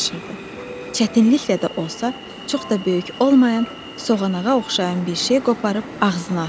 Çətinliklə də olsa, çox da böyük olmayan, soğanağa oxşayan bir şey qoparıb ağzına atdı.